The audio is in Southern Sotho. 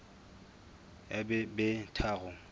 ya b di be tharo